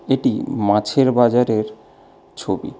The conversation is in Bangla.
এটি মাছের বাজারের ছবি।